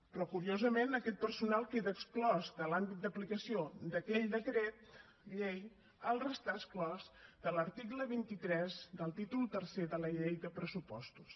però curiosament aquest personal queda exclòs de l’àmbit d’aplicació d’aquell decret llei al restar exclòs de l’article vint tres del títol tercer de la llei de pressupostos